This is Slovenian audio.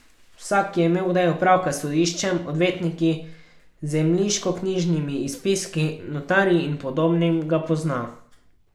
Vsak, ki je imel kdaj opravka s sodiščem, odvetniki, zemljiškoknjižnimi izpiski, notarji in podobnim, ga pozna ...